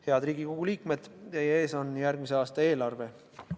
Head Riigikogu liikmed, teie ees on järgmise aasta eelarve.